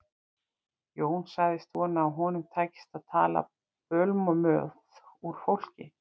Jón sagðist vona að honum tækist að tala bölmóð úr fólki.